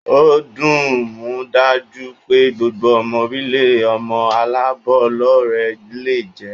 O dimudaju pe gbogbo omo orilee omo alabolore le je.